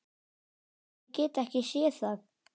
Ég get ekki séð það.